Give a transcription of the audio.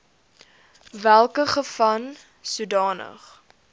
welke geval sodanige